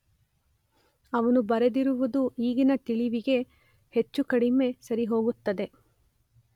ಅವನು ಬರೆದಿರುವುದು ಈಗಿನ ತಿಳಿವಿಗೆ ಹೆಚ್ಚು ಕಡಿಮೆ ಸರಿಹೋಗುತ್ತದೆ.